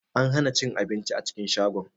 An hana cin abinci a cikin shagon.